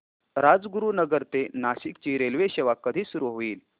राजगुरूनगर ते नाशिक ची रेल्वेसेवा कधी सुरू होईल